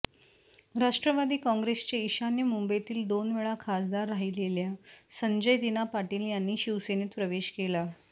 राष्ट्रवादी काँग्रेसचे ईशान्य मुंबईतील दोनवेळा खासदार राहिलेलेल्या संजय दिना पाटील यांनी शिवसेनेत प्रवेश केला